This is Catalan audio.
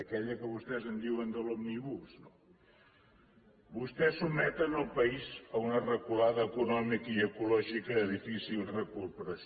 aquella que vostès en diuen de l’òmnibus no vostès sotmeten el país a una reculada econòmica i ecològica de difícil recuperació